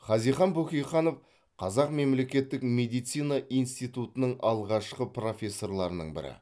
хазихан бөкейханов қазақ мемлекеттік медицина институтының алғашқы профессорларының бірі